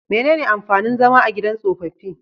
Menene amfanin zama a gidan tsofaffi?